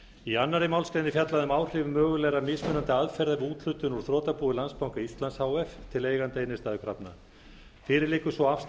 í annarri málsgrein er fjallað um áhrif mögulegra mismunandi aðferða við úthlutun úr þrotabúi landsbanka íslands h f til eigenda innstæðukrafna fyrir liggur sú afstaða